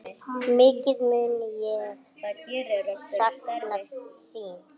Mikið mun ég sakna þín.